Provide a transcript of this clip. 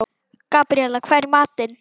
Gabríela, hvað er í matinn?